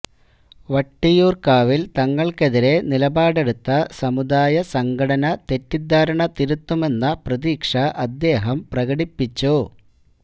വട്ടിയൂര്ക്കാവില് തങ്ങള്ക്കെതിരെ നിലപാടെടുത്ത സമുദായ സംഘടന തെറ്റുദ്ധാരണ തിരുത്തുമെന്ന പ്രതീക്ഷ അദ്ദേഹം പ്രകടിപ്പിച്ചു